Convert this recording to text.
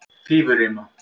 Fífurima